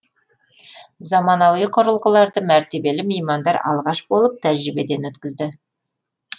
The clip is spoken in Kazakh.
заманауи құрылғыларды мәртебелі меймандар алғаш болып тәжірибеден өткізді